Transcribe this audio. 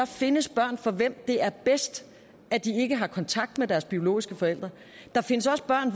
findes børn for hvem det er bedst at de ikke har kontakt med deres biologiske forældre der findes også børn